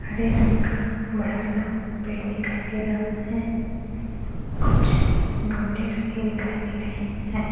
हरे रंग का बड़ा-सा पेड़ दिखाई दे रहा है कुछ गमले रखे दिखाई दे रहे हैं।